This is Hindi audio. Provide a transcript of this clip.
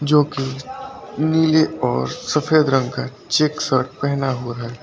जो कि नीले और सफेद रंग का चेक शर्ट पहना हुआ है।